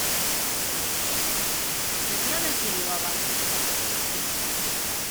татьяна кириллова